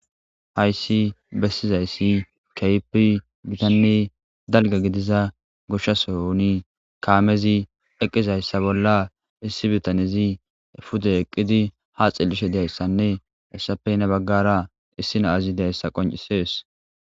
Hayssi bessizayssi keypi gitanne dalga gidiza gushshasoyni kaamezi eqqizayssa bolla issi bitanezi fude eqqidi ha xellishe deyayssanne hessapey nabaggara issi naazi deyssa qoncisees.